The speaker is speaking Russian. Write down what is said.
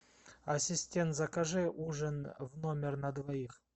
ассистент закажи ужин в номер на двоих